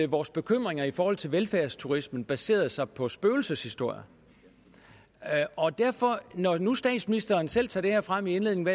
vores bekymringer i forhold til velfærdsturismen baserede sig på spøgelseshistorier og derfor når nu statsministeren selv tager det her frem i indledningen